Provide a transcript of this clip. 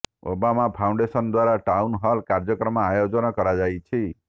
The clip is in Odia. ଓବାମା ଫାଉଣ୍ଡେସନ୍ ଦ୍ୱାରା ଟାଉନ୍ ହଲ୍ କାର୍ଯ୍ୟକ୍ରମ ଆୟୋଜନ କରାଯାଇଛି